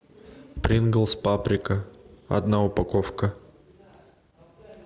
принглс паприка одна упаковка